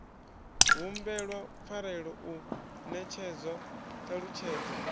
humbelwa pfarelo u netshedzwa ṱhalutshedzo